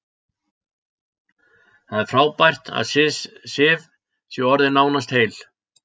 Það er frábært að Sif sé orðin nánast heil.